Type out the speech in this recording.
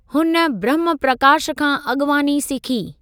हुन ब्रह्म प्रकाश खां अॻिवानी सिखी।